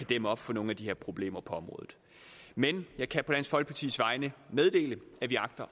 dæmme op for nogle af de her problemer på området men jeg kan på dansk folkepartis vegne meddele at vi agter